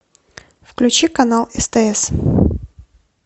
включи канал стс